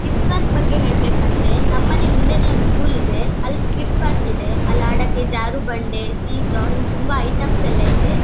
Kids park ಬಗ್ಗೆ ಹೇಳಬೇಕದ್ರೆ ನಮ್ಮ್ಮನೆ ಹಿಂದೇನೆ ಒಂದು ಸ್ಕೂಲ್ ಇದೆ. ಅಲ್ಲಿ ಕಿಡ್ಸ್ ಪಾರ್ಕ್ ಇದೆ ಅಲ್ಲಿ ಆಡೋಕೆ ಜಾರಬಂಡಿ ಸಿಸೊನ್ ತುಂಬಾ ಐಟೆಮ್ಸ ಎಲ್ಲಾ ಇದೆ .